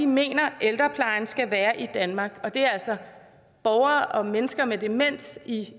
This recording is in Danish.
mener ældreplejen skal være i danmark og det er altså borgere og mennesker med demens i